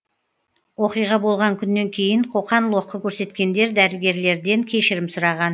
оқиға болған күннен кейін қоқан лоққы көрсеткендер дәрігерлерден кешірім сұраған